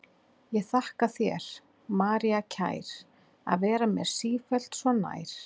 Ég þakka þér, María kær, að vera mér sífellt svo nær.